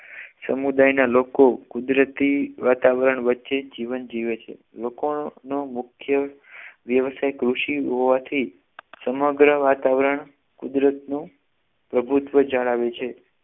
સમુદાયના લોકો કુદરતી વાતાવરણ વચ્ચે જીવન જીવે છે લોકોનો મુખ્ય વિષય કૃષિ હોવાથી સમગ્ર વાતાવરણ કુદરતનું પ્રભુત્વ જણાવે છે